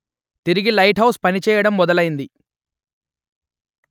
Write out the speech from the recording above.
తిరిగి lighthouse పనిచేయడం మొదలైంది